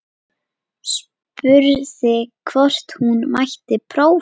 Spurði hvort hún mætti prófa.